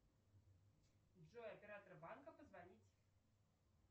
джой оператор банка позвонить